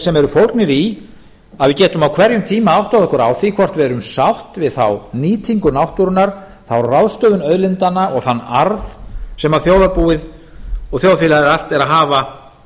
sem eru fólgnir í að við getum á hverjum tíma áttað okkur á því hvort við erum sátt við þá nýtingu náttúrunnar þá ráðstöfun auðlindanna og þann arð sem þjóðarbúið og þjóðfélagið allt er að hafa